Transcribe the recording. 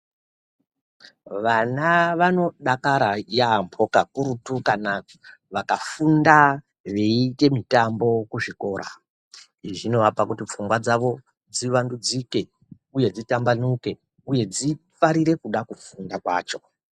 Vana vanodakara yaambo kakurutu kana vakafunda veiite mitambo kuzvikora, izvi zvinovapa kuti pfungwa dzavo dzivandudzike, uye dzitambanuke, uye dzifarire kuda kufunda kwacho.